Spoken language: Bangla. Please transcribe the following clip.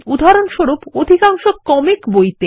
উদাহরণস্বরূপ অধিকাংশ কমিক বইতে